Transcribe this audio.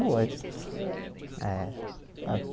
Boa É É